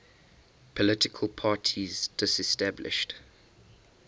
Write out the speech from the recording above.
political parties disestablished